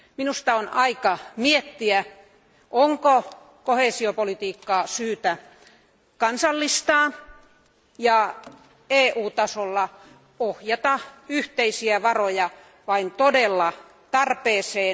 Minusta on aika miettiä, onko koheesiopolitiikkaa syytä kansallistaa ja EU tasolla ohjata yhteisiä varoja vain todelliseen tarpeeseen.